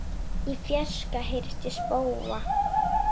Í fjarska heyrist í spóa.